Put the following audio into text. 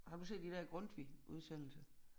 Har du set de der Grundtvig udsendelse